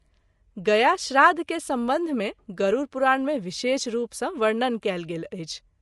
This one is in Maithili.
गया श्राद्ध के संबंध मे गरूरपुराण मे विशेष रूप सँ वर्णन कएल गेल अछि।